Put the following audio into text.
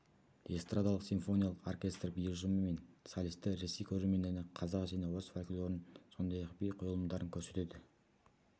эстрадалық-симфониялық оркестр би ұжымы мен солистер ресей көрермендеріне қазақ және орыс фольклорын сондай-ақ би қойылымдарын көрсетеді